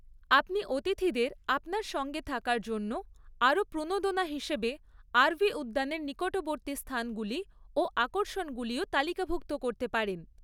আপনি অতিথিদের আপনার সঙ্গে থাকার জন্য আরও প্রণোদনা হিসেবে আরভি উদ্যানের নিকটবর্তী স্থানগুলি ও আকর্ষণগুলিও তালিকাভুক্ত করতে পারেন।